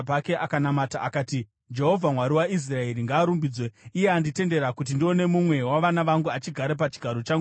akati, ‘Jehovha, Mwari waIsraeri, ngaarumbidzwe, iye anditendera kuti ndione mumwe wavana vangu achigara pachigaro changu choushe nhasi.’ ”